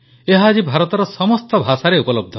ଏହା ଆଜି ଭାରତର ସମସ୍ତ ଭାଷାରେ ଉପଲବ୍ଧ